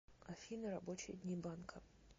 афина рабочие дни банка